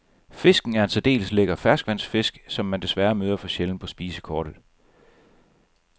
Fisken er en særdeles lækker ferskvandsfisk, som man desværre møder for sjældent på spisekortet.